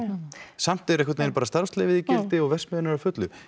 samt er einhvernvegin bara starfsleyfið í gildi og verksmiðjan er á fullu